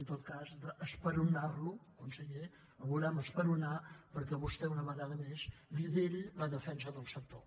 en tot cas esperonar lo conseller el volem esperonar perquè vostè una vegada més lideri la defensa del sector